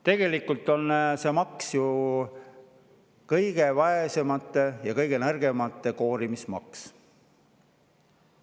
Tegelikult on see ju kõige vaesemate ja kõige nõrgemate koorimise maks.